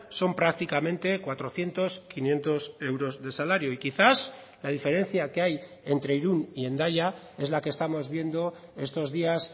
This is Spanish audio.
son prácticamente cuatrocientos quinientos euros de salario y quizás la diferencia que hay entre irún y hendaya es la que estamos viendo estos días